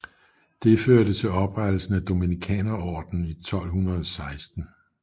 Det førte til oprettelsen af dominikanerordenen i 1216